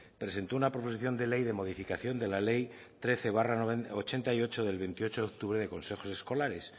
presentó una proposición de ley de modificación de la ley trece barra ochenta y ocho del veintiocho octubre de consejos escolares